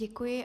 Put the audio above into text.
Děkuji.